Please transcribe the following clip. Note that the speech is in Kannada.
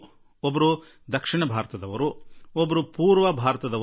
ಮತ್ತೊಬ್ಬರು ದಕ್ಷಿಣ ಭಾರತದವರು ಹಾಗೂ ಇನ್ನೊಬ್ಬರು ಪೂರ್ವ ಭಾರತದವರು